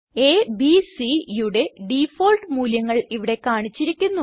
അ ബ് Cയുടെ ഡിഫാൾട്ട് മൂല്യങ്ങൾ ഇവിടെ കാണിച്ചിരിക്കുന്നു